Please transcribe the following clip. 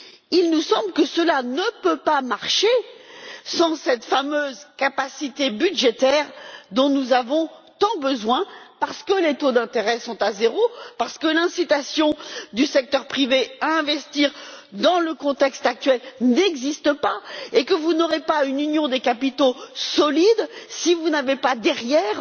Il nous semble que cela ne peut pas marcher sans cette fameuse capacité budgétaire dont nous avons tant besoin parce que les taux d'intérêt sont à zéro, parce que l'incitation du secteur privé à investir, dans le contexte actuel, n'existe pas, et que vous n'aurez pas une union des capitaux solide si vous n'avez pas derrière